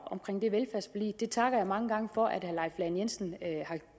det takker mange gange for at herre leif lahn jensen har